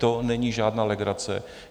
To není žádná legrace.